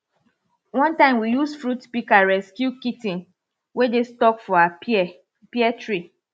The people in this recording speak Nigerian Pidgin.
one time we use fruit pika rescue kit ten wey dey stuck for our pear pear tree